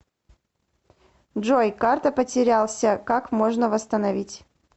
джой карта потерялся как можно восстановить